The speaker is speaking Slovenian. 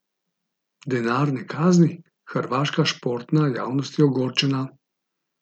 Denarne kazni, Hrvaška športna javnost je ogorčena.